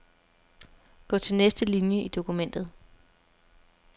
Gå til næste linie i dokumentet.